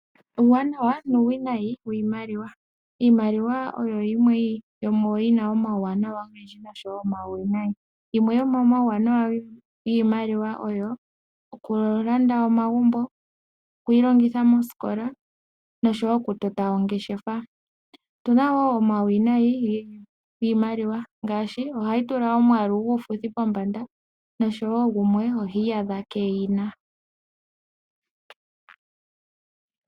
Uuwanawa nuuwinayi wiimaliwa. Iimaliwa oyina uuwanawa owundji oshowo uuwinayi, yimwe yomomauwanawa oyo okulanda omagumbo, okwiilongitha mosikola noshowo okutota ongeshefa. Uuwinayi ohayi tula omwaalu guufuthi pombanda oshowo gumwe ohi iyadha keeyina.